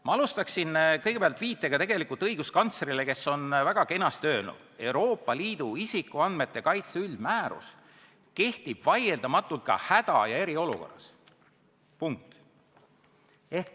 Ma jätkaksin viitega õiguskantslerile, kes on väga kenasti öelnud: "Euroopa Liidu isikuandmete kaitse üldmäärus kehtib vaieldamatult ka häda- ja eriolukorras.